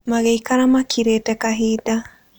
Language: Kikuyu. Magĩikara makirĩte kahinda.